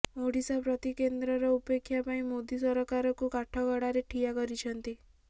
ଓଡ଼ିଶା ପ୍ରତି କେନ୍ଦ୍ରର ଉପେକ୍ଷା ପାଇଁ ମୋଦୀ ସରକାରକୁୁ କାଠଗଡ଼ାରେ ଠିଆ କରିଛନ୍ତି